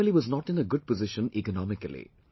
But, the family was not in a good position economically